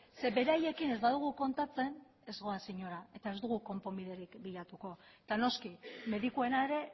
zeren beraiekin ez badugu kontatzen ez goaz inora eta ez dugu konponbiderik bilatuko eta noski medikuena ere